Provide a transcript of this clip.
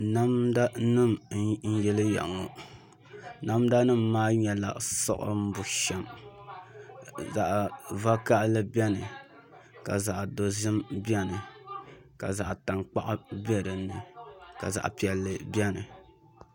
Namda nim n yiliya ŋɔ namda nim maa nyɛla siɣim bushɛm zaɣ vakaɣali biɛni ka zaɣ dozim biɛni ka zaɣ tankpaɣu bɛ dinni ka zaɣ piɛlli biɛni